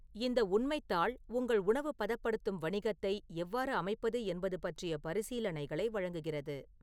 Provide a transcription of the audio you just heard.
இந்த உண்மைத் தாள் உங்கள் உணவு பதப்படுத்தும் வணிகத்தை எவ்வாறு அமைப்பது என்பது பற்றிய பரிசீலனைகளை வழங்குகிறது